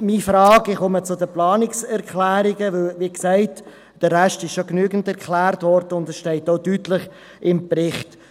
meine Frage – ich komme zu den Planungserklärungen, denn wie gesagt, wurde der Rest schon genügend erklärt, und es steht auch deutlich im Bericht.